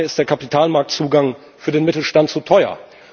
Daher ist der Kapitalmarktzugang für den Mittelstand zu teuer.